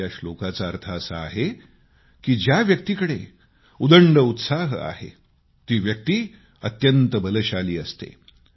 या श्लोकाचा अर्थ असा आहे की ज्या व्यक्तीकडे उदंड उत्साह आहे ती व्यक्ती अत्यंत बलशाली असते